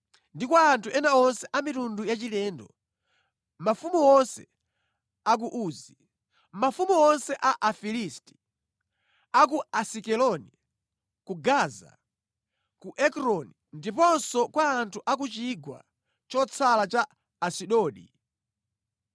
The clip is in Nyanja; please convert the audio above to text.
ndi kwa anthu ena onse a mitundu yachilendo; mafumu onse a ku Uzi; mafumu onse a Afilisti, a ku Asikeloni, ku Gaza, ku Ekroni ndiponso kwa anthu a ku chigwa chotsala cha Asidodi;